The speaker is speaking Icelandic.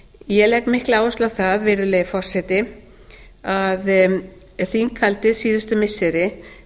ég legg mikla áherslu á það virðulegi forseti að þinghaldið síðustu missiri